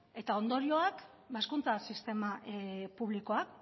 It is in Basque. eta ondorioak ba hezkuntza sistema publikoan